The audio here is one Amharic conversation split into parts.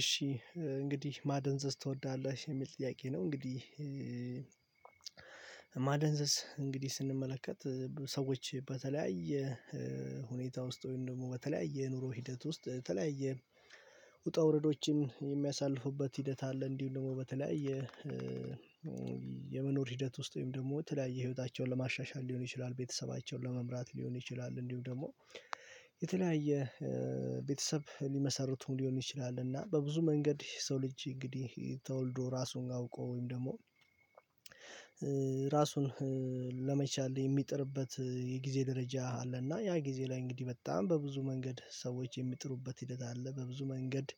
እሺ እንግዲህ ማደንዘዝ ትወዳለሽ የሚል ጥያቄ ነው? እንግዲህ ማደንዘዝ እንግዲህ ስንመለከት ሰዎች በተለያየ ሁኔታ ውስጥ ደግሞ በተለያየ የኑሮ ሂደት ውስጥ በተለያየ ውጣ ውረዶችን የሚያሳልፉበት ሂደት አለ። እንዲሁም ደግሞ በተለያየ የመኖር ሂደት ውስጥ ወይም ደግሞ ተለያየ ህይወታቸውን ለማሻሻል ሊሆን ይችላል ቤተሰባቸውን ለመምራት ሊሆን ይችላል እንዲሁ ደግሞ የተለያየ ቤተሰብ ሊመሰርቱም ሊሆን ይችላል። እና በብዙ መንገድ ሰው ልጅ እንግዲህ ተወልዶ ራሱን አውቆ ወይም ደግሞ ራሱን ለመቻል የሚጥርበት የጊዜ ደረጃ አለና ያ ጊዜ ላይ እንግዲህ በጣም በብዙ መንገድ ሰዎች የሚጥሩበት ሂደት አለ። በብዙ መንገድ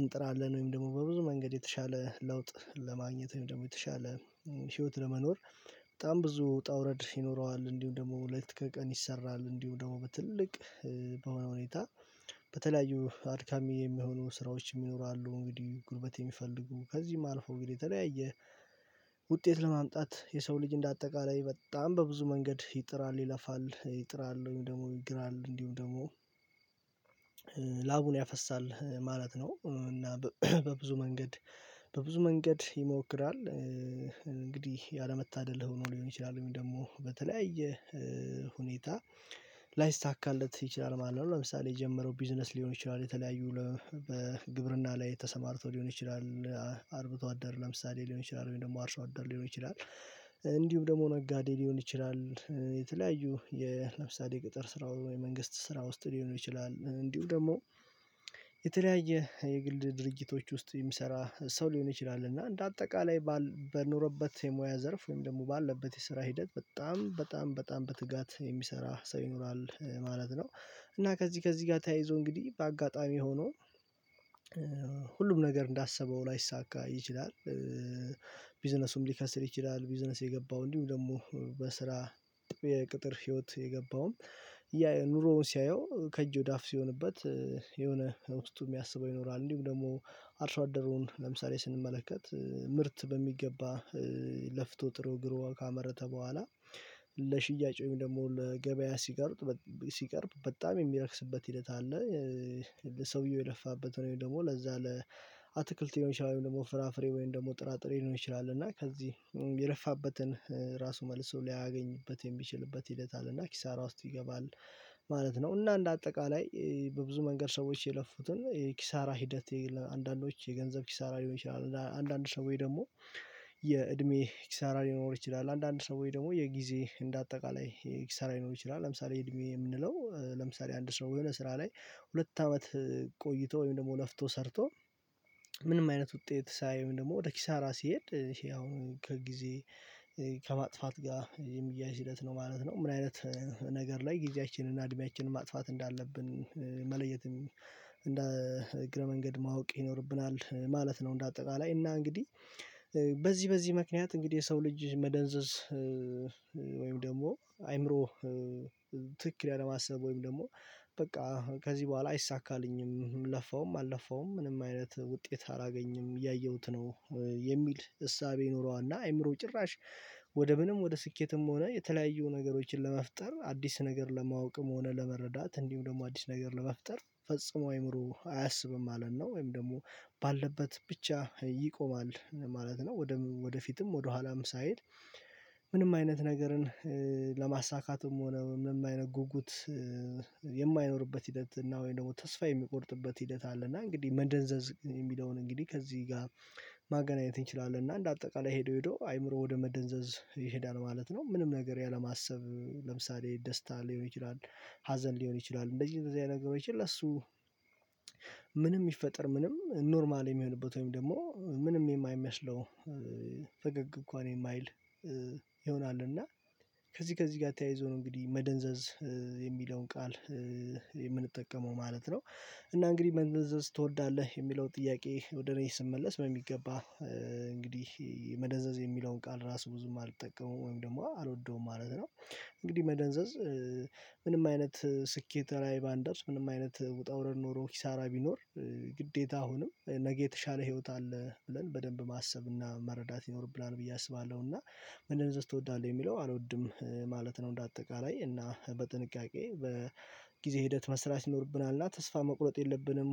እንጥራለን ወይም ደግሞ በብዙ መንገድ የተሻለ ለውጥ ለማግኘት ወይም ደግሞ የተሻለ ህይወት ለመኖር በጣም ብዙ ውጣ ውረድ ይኖረዋል እንዲሁም ደግሞ ሌት ከቀን ይሰራል። እንዲሁ ደግሞ ትልቅ በሆነ ሁኔታ በተለያዩ አድካሚ የሚሆኑ ስራዎች ይኖራሉ እንግዲህ ጉልበት የሚፈልጉ ከዚህም አልፎ እንግዲህ የተለያየ ውጤት ለማምጣት የሰው ልጅ እንደ አጠቃላይ በጣም በብዙ መንገድ ይጥራል ይለፋል ይጥራል ወይም ደግሞ ይግራል እንዲሁም ደግሞ ላቡን ያፈሳል ማለት ነው። እና በብዙ መንገድ በብዙ መንገድ ይሞክራል እንግዲህ ያለመታደል ሆኖ ሊሆን ይችላል ወይም ደግሞ በተለያየ ሁኔታ ላይሳካለት ይችላል ማለት ነው። ለምሳሌ የጀመረው ቢዝነስ ሊሆን ይችላል የተለያዩ ግብርና ላይ ተሰማርቶ ሊሆን ይችላል አርብቶ አደር ለምሳሌ ሊሆን ይችላል ወይም ደግሞ አርሶ አደር ሊሆን ይችላል እንዲሁም ደግሞ ነጋዴ ሊሆን ይችላል የተለያዩ ለምሳሌ የቅጥር ስራ ወይ የመንግስት ስራ ውስጥ ሊሆን ይችላል። እንዲሁ ደግሞ የተለያየ የግል ድርጊቶች ውስጥ የሚሰራ ሰው ሊሆን ይችላል እና እንደ አጠቃላይ በኖረበት የሙያ ዘርፍ ወይም ደግሞ ባለበት የስራ ሂደት በጣም በጣም በጣም በትጋት የሚሰራ ሰው ይኖራል ማለት ነው። እና ከዚህ ከዚህ ጋር ተያይዞ እንግዲህ በአጋጣሚ ሆኖ ሁሉም ነገር እንዳሰበው ላይሳካ ይችላል ቢዝነሱም ሊከስር ይችላል ቢዝነስ የገባው እንዲሁም ደግሞ በስራ የቅጥር ህይወት የገባውም ኑሮውን ሲያየው ከእጅ ወደ አፍ ሲሆንበት የሆነ ውስጡ የሚያስበው ይኖራል። እንዲሁም ደግሞ አርሶ አደሩን ለምሳሌ ስንመለከት ምርት በሚገባ ለፍቶ ጥሮ ግሮ ካመረተ በኋላ ለሽያጭ ወይም ደግሞ ለገበያ ሲቀርብ ሲቀርብ በጣም የሚረክስበት ሂደት አለ ሰውየው የለፋበት ወይም ደግሞ ለዛ አትክልት ሊሆን ይችላል ወይም ደግሞ ፍራፍሬ ወይም ደግሞ ጥራጥሬ ሊሆን ይችላል እና ከዚህ የለፋበትን ራሱ መልሶ ላያገኝበት የሚችልበት ሂደት አለ እና ኪሳራ ውስጥ ይገባል ማለት ነው። እና እንደ አጠቃላይ በብዙ መንገድ ሰዎች የለፉትን የኪሳራ ሂደት ለአንዳንዶች የገንዘብ ኪሳራ ሊሆን ይችላል ለአንዳንድ ሰዎች ደግሞ የእድሜ ኪሳራ ሊኖር ይችላል አንዳንድ ሰዎች ደግሞ የጊዜ እንደ አጠቃላይ ኪሳራ ሊኖር ይችላል ለምሳሌ እድሜ የምንለው ለምሳሌ አንድ ሰው የሆነ ስራ ላይ ሁለት አመት ቆይቶ ወይም ደግሞ ለፍቶ ሰርቶ ምንም አይነት ውጤት ሳያይ ወይም ደግሞ ወደ ኪሳራ ሲሄድ ያው ከጊዜ ከማጥፋት ጋር የሚያያዝ ሂደት ነው ማለት ነው። ምን አይነት ነገር ላይ ጊዜያችንን እና እድሜያችንን ማጥፋት እንዳለብን መለየት እንደ እግረ መንገድ ማወቅ ይኖርብናል ማለት ነው። እንደ አጠቃላይ እና እንግዲህ በዚህ በዚህ ምክንያት እንግዲህ የሰው ልጅ መደንዘዝ ወይም ደግሞ አይምሮ ትክክል ያለ ማሰብ ወይም ደግሞ በቃ ከዚህ በኋላ አይሳካልኝም ለፋውም አልለፋውም ምንም አይነት ውጤት አላገኝም እያየሁት ነው የሚል እሳቤ ይኖረዋል እና አይምሮው ጭራሽ ወደ ምንም ወደ ስኬትም ሆነ የተለያዩ ነገሮችን ለመፍጠር አዲስ ነገር ለማወቅም ሆነ ለመረዳት እንዲሁም ደግሞ አዲስ ነገር ለመፍጠር ፈጽሞ አይምሮው አያስብም ማለት ነው። ወይም ደግሞ ባለበት ብቻ ይቆማል ማለት ነው ወደፊትም ወደ ኋላም ሳይል ምንም አይነት ነገርን ለማሳካትም ሆነ ምንም አይነት ጉጉት የማይኖርበት ሂደት እና ወይም ደግሞ ተስፋ የሚቆርጥበት ሂደት አለ እና እንግዲህ መደንዘዝ የሚለውን እንግዲህ ከዚህ ጋር ማገናኘት እንችላለን እና እንደ አጠቃላይ ሄዶ ሄዶ አይምሮው ወደ መደንዘዝ ይሄዳል ማለት ነው። ምንም ነገር ያለማሰብ ለምሳሌ ደስታ ሊሆን ይችላል ሀዘን ሊሆን ይችላል እንደዚህ እንደዚህ አይነት ነገሮች ለሱ ምንም ይፈጠር ምንም ኖርማል የሚሆንበት ወይም ደግሞ ምንም የማይመስለው ፈገግ እንኳን የማይል ይሆናል እና ከዚህ ከዚህ ጋር ተያይዞ ነው እንግዲህ መደንዘዝ የሚለውን ቃል የምንጠቀመው ማለት ነው። እና እንግዲህ መደንዘዝ ትወዳለህ የሚለው ጥያቄ ወደ እኔ ስመለስ በሚገባ እንግዲህ መደንዘዝ የሚለውን ቃል ራሱ ብዙም አልጠቀመውም ወይም ደግሞ አልወደውም ማለት ነው። እንግዲህ መደንዘዝ ምንም አይነት ስኬት ላይ ባንደርስ ምንም አይነት ውጣ ውረድ ኖሮ ኪሳራ ቢኖር ግዴታ አሁንም ነገ የተሻለ ህይወት አለ ብለን በደንብ ማሰብና መረዳት ይኖርብናል ብዬ አስባለሁ እና መደንዘዝ ትወዳለህ የሚለው አልወድም ማለት ነው። እንደ አጠቃላይ እና በጥንቃቄ በጊዜ ሂደት መስራት ይኖርብናል እና ተስፋ መቁረጥ የለብንም